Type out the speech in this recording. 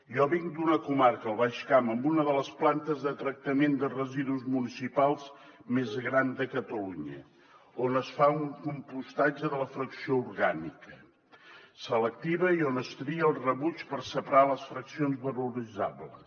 jo vinc d’una comarca el baix camp amb una de les plantes de tractament de residus municipals més gran de catalunya on es fa un compostatge de la fracció orgànica selectiva i on es tria el rebuig per separar les fraccions valoritzables